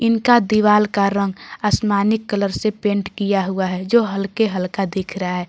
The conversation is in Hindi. इनका दीवाल का रंग आसमानी कलर से पेंट किया हुआ है जो हल्के हल्का दिख रहा है।